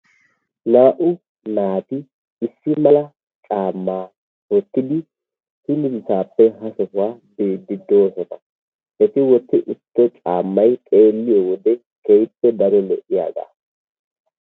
Naa"u naati issi mala caammaa woottidi hingaxaappe ha gaxxaa yiidi doosona. Eti wootti uttido caammay xeelliyoode keehippe daro lo"iyaagaa.